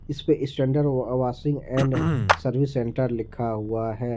इस पे standard washing and service centre लिखा हुआ है।